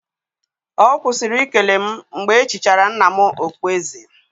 Ọ kwụsịrị ikele m mgbe e chichara nna m okpueze